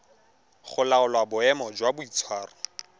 go laola boemo jwa boitshwaro